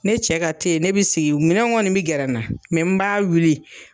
Ne cɛ ka te ne bi sigi minɛnw kɔni bi gɛrɛ n na n b'a wuli.